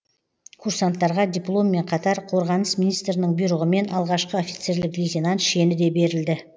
курсанттарға дипломмен қатар қорғаныс министрінің бұйрығымен алғашқы офицерлік лейтенант шені де берілді